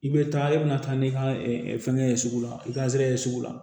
I bɛ taa i bɛna taa n'i ka fɛngɛ ye sugu la i ka zɛrɛye sugu la